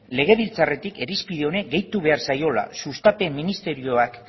legebiltzarretik irizpide honi gehitu behar zaiola sustapen ministerioak